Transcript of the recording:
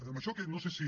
amb això que no sé si